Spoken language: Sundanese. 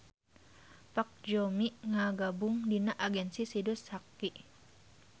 Park Joo-mi ngagabung dina agensi Sidus HQ